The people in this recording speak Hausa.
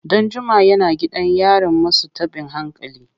Danjuma yana gidan yarin masu tabin hankali.